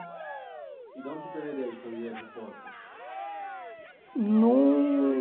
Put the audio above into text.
E de onde você teve a ideia de fazer as porcas? Num